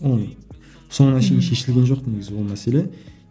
оны соңына шейін шешілген жоқ негізі ол мәселе